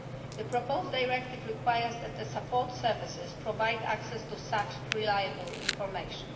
The proposed directive requires that the support services provide access to such reliable information.